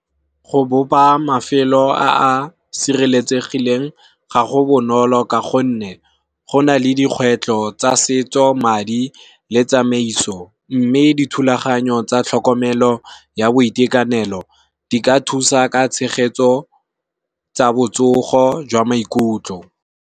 Go bopa mafelo a a sireletsegileng ga go bonolo ka gonne go na le dikgwetlho tsa setso, madi le tsamaiso. Mme dithulaganyo tsa tlhokomelo ya boitekanelo di ka thusa ka tshegetso tsa botsogo jwa maikutlo.